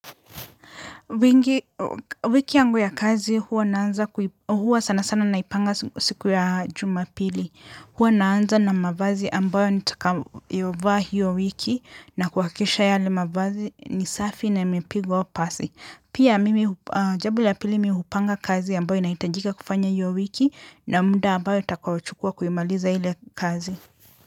Wiki yangu ya kazi huwa sanasana naipanga siku ya jumapili. Huwa naanza na mavazi ambayo nitakayovaa hiyo wiki na kuhakikisha yale mavazi ni safi na imepigwa pasi. Pia jambo la pili mimi hupanga kazi ambayo inahitajika kufanya hiyo wiki na muda ambayo nitakaochukua kuimaliza ile kazi.